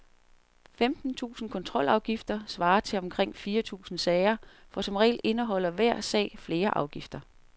Femten tusinde kontrolafgifter svarer til omkring fire tusinde sager, for som regel indeholder hver sag flere afgifter.